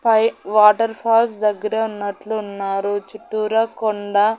పై water falls దగ్గరే ఉన్నట్లు ఉన్నారు చుట్టూరా కొండ --